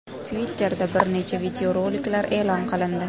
Twitter’da bir nechta videoroliklar e’lon qilindi.